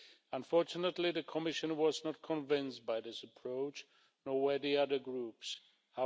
Unfortunately, the Commission was not convinced by this approach, nor were the other political groups.